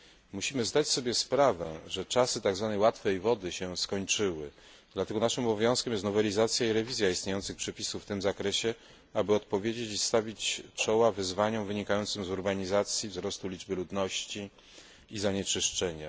Musimy zdać sobie sprawę, że czasy tak zwanej łatwej wody się skończyły, dlatego naszym obowiązkiem jest nowelizacja i rewizja istniejących przepisów w tym zakresie, aby odpowiedzieć i stawić czoła wyzwaniom wynikającym z urbanizacji, wzrostu liczby ludności i zanieczyszczenia.